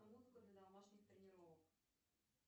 музыку для домашних тренировок